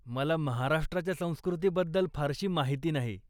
मला महाराष्ट्राच्या संस्कृतीबद्दल फारशी माहिती नाही.